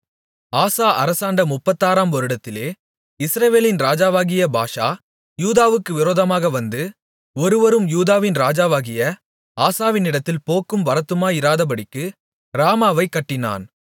ஆசா அரசாண்ட முப்பத்தாறாம் வருடத்திலே இஸ்ரவேலின் ராஜாவாகிய பாஷா யூதாவுக்கு விரோதமாக வந்து ஒருவரும் யூதாவின் ராஜாவாகிய ஆசாவினிடத்தில் போக்கும் வரத்துமாயிராதபடிக்கு ராமாவைக் கட்டினான்